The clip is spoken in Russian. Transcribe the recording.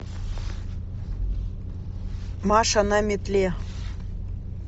маша на метле